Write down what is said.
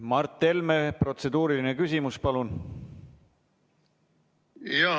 Mart Helme, protseduuriline küsimus, palun!